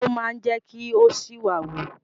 Igbó máa jẹ́ kí ó ṣìwà wù.